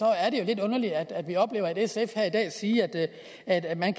er det jo lidt underligt at vi oplever at sf her i dag siger at at man